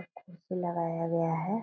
एक कुर्सी लगाया गया है।